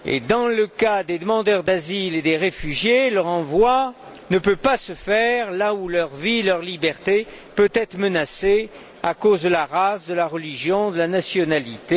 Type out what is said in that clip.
Dans le cas des demandeurs d'asile et des réfugiés, le renvoi ne peut pas se faire là où leur vie, leur liberté peuvent être menacées à cause de leur race, de leur religion ou de leur nationalité.